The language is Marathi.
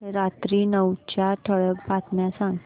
रात्री नऊच्या ठळक बातम्या सांग